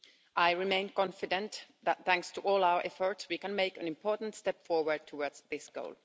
I remain confident that, thanks to all our efforts, we can make an important step forward towards this goal.